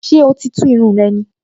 Ṣé oò tíì tú irun rẹ ni?